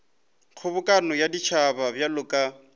kgobokano ya setšhaba bjalo ka